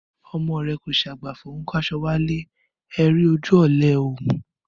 Ọmọ rẹ kọ sàgbàfọ, ọún kàsọ wàlẹ́,ẹ ri ójù òlé ẹ ọ mú